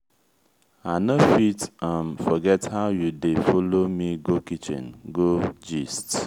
i no fit um forget how you dey folo me go kitchen go gist.